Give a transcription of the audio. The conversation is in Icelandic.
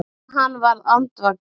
En hann varð andvaka.